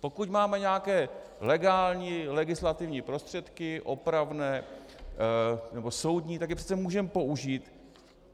Pokud máme nějaké legální legislativní prostředky opravné nebo soudní, tak je přece můžeme použít.